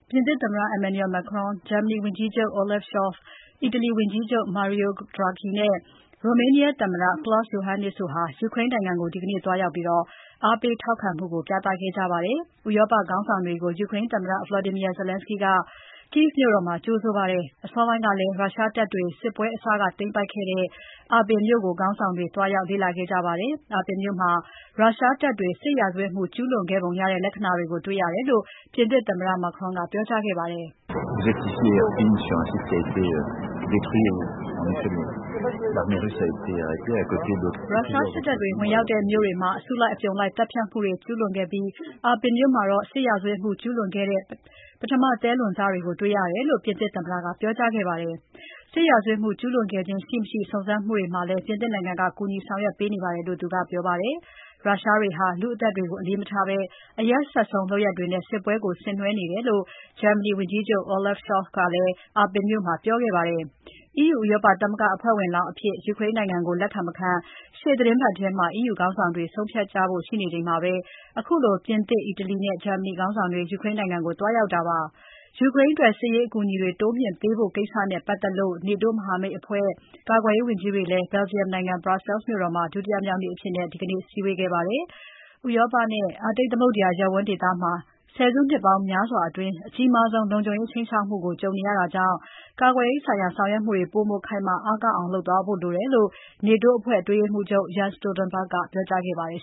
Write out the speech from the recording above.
ပြင်သစ်သမ္မတ Emmanuel Macron ၊ ဂျာမနီဝန်ကြီးချုပ် Olaf Scholz ၊ အီတလီဝန်ကြီးချုပ် Mario Draghi နဲ့ Romanian သမ္မတ Klaus Iohannis (ကလောက်စ် ယိုဟန်းနစ်) တို့ ယူကရိန်းနိုင်ငံကို ဒီနေ့ သွားရောက်ပါတယ်။ ဥရောပခေါင်းဆောင်တွေကို ယူကရိန်းသမ္မတ Volodymyr Zelenskiy က Kyiv မြို့တော်မှာ ကြိုဆိုခဲ့ပါတယ်။ အစောပိုင်းကလည်း ရုရှားတပ်တွေ စစ်ပွဲအစက သိမ်းပိုက်ခဲ့တဲ့ Irpin မြို့ကို ခေါင်းဆောင်တွေ သွားရောက် လေ့လာခဲ့ပါတယ်။ Irpin မြို့မှာ ရုရှားတပ်တွေ စစ်ရာဇဝတ်မှုကျူးလွန်ခဲ့ပုံရတဲ့ လက္ခဏာတွေတွေ့ရတယ်လို့ ပြင်သစ်သမ္မတ Macron က ပြောကြားခဲ့ပါတယ်။ ရုရှားစစ်တပ်တွေ ဝင်ရောက်တဲ့ မြို့တွေမှာ အစုလိုက် အပြုံလိုက်သတ်ဖြတ်မှုတွေ ကျူးလွန်ခဲ့ပြီး Irpin မြို့မှာ စစ်ရာဇဝတ်မှုကျူးလွန်ခဲ့တဲ့ ပထမသဲလွန်စတွေ တွေ့ရှိရတယ်လို့ ပြင်သစ်သမ္မတက ပြောကြားခဲ့ပါတယ်။ စစ်ရာဇဝတ်မှု ကျူးလွန်ခဲ့ခြင်း ရှိမရှိ စုံစမ်းမှုတွေမှာလည်း ပြင်သစ်နိုင်ငံက ကူညီဆောင်ရွက်ပေးနေတယ်လို့ သူကပြောပါတယ်။ ရုရှားတွေဟာ လူ့အသက်တွေကို အလေးမထားဘဲ အရက်စက်ဆုံးလုပ်ရပ်တွေနဲ့ စစ်ပွဲကိုဆင်နွဲနေတယ်လို့ ဂျာမနီဝန်ကြီးချုပ် Olaf Scholz ကလည်း Irpin မြို့မှာ ပြောခဲ့ပါတယ်။ EU ဥရောပသမဂ္ဂအဖွဲ့ဝင်လောင်းအဖြစ် ယူကရိန်းနိုင်ငံကို လက်ခံမခံ ရှေ့သီတင်းပတ်ထဲမှာ EU ခေါင်းဆောင်တွေ ဆုံးဖြတ်ကြဖို့ ရှိနေချိန်မှာ ခုလို ပြင်သစ်၊ အီတလီနဲ့ ဂျာမနီနိုင်ငံခေါင်းဆောင်တွေ ယူကရိန်းနိုင်ငံကို သွားရောက်တာဖြစ်ပါတယ်။ ယူကရိန်းအတွက် စစ်ရေး အကူအညီတွေ တိုးမြှင့်ပေးဖို့ ကိစ္စနဲ့ပတ်သက်လို့ NATO မဟာမိတ်အဖွဲ့ ကာကွယ်ရေးဝန်ကြီးတွေလည်း Belgium နိုင်ငံ Brussels မြို့တော်မှာ ဒုတိယမြောက်နေ့အဖြစ် ဒီနေ့ စည်းဝေးခဲ့ကြပါတယ်။ ဥရောပနဲ့ အာတိတ်သမုဒ္ဒရာရပ်ဝန်းဒေသမှာ ဆယ်စုနှစ်ပေါင်းများစွာအတွင်း အကြီးမားဆုံး လုံခြုံရေးဆိုင်ရာ ခြိမ်းခြောက်မှုနဲ့ ကြုံနေရတာကြောင့် ကာကွယ်ရေးဆိုင်ရာ ဆောင်ရွက်မှုတွေ ပိုမို ခိုင်မာ အားကောင်းအောင် လုပ်သွားဖို့လိုတယ်လို့ NATO အဖွဲ့အတွင်းရေးမှူးချုပ် Jens Stoltenberg က ပြောကြားခဲ့ပါတယ်